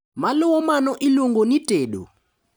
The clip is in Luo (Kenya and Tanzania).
Maluwo mano iluongo ni tedo.